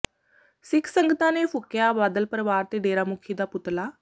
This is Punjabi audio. ਸਿੱਖ ਸੰਗਤਾਂ ਨੇ ਫੂਕਿਆ ਬਾਦਲ ਪਰਿਵਾਰ ਤੇ ਡੇਰਾ ਮੁਖੀ ਦਾ ਪੁਤਲਾ